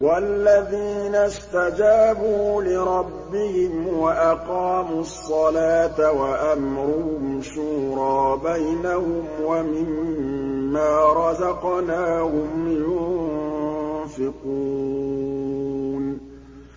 وَالَّذِينَ اسْتَجَابُوا لِرَبِّهِمْ وَأَقَامُوا الصَّلَاةَ وَأَمْرُهُمْ شُورَىٰ بَيْنَهُمْ وَمِمَّا رَزَقْنَاهُمْ يُنفِقُونَ